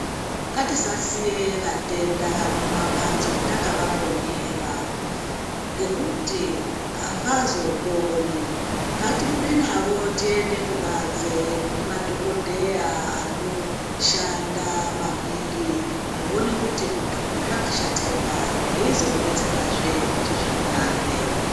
Ngatisasiye vatenda muma mbatso takava mbonyera ngekuti avazo poni ngati bude navo tiende ku banze kune madhokodheya ano shanda maningi kuone kuti muntu uyu zvaka shatira papi veizomu betsera he kuti zvinake.